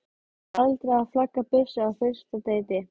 Aldrei að flagga byssu á fyrsta deiti.